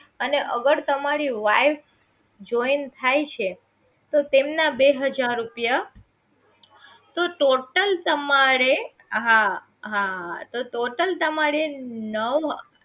અને અગર તમારી wife join થાય છે તો તેમના બે હજાર રૂપિયા તો total તમારે હા હા તો total તમારે નવ